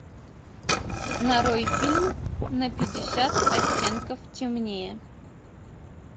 нарой фильм на пятьдесят оттенков темнее